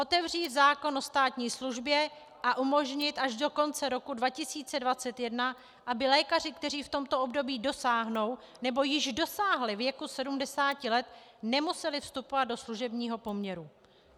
Otevřít zákon o státní službě a umožnit až do konce roku 2021, aby lékaři, kteří v tomto období dosáhnou nebo již dosáhli věku 70 let, nemuseli vstupovat do služebního poměru.